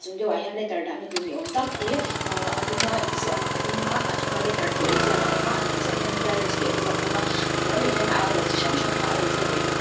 chung deuhah hian letter dahna tur ni awm tak hi aaa a duma inziak aa a duma a chunga letter tih inziak a awm a a hnuai chiahah hian clearance tih a inziak bawk a a hnuai lehah hian a hour chi hrang hrang kha a inziak leh bawk a.